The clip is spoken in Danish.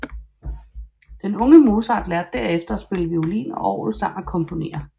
Den unge Mozart lærte derefter at spille violin og orgel samt at komponere